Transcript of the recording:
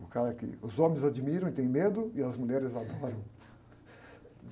O cara que os homens admiram e têm medo, e as mulheres adoram.